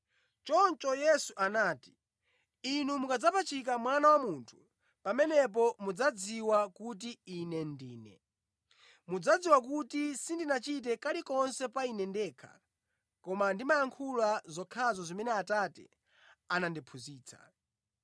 Choncho Yesu anati, “Inu mukadzapachika Mwana wa Munthu, pamenepo mudzadziwa kuti Ine Ndine. Mudzadziwa kuti sindichita kalikonse pa Ine ndekha koma ndimayankhula zokhazo zimene Atate anandiphunzitsa.